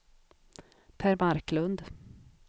Per Marklund